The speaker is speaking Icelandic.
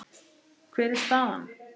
Hver er staðan?